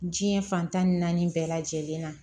Diɲɛ fantan ni naani bɛɛ lajɛlen na